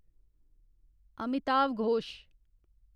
Amitav Ghosh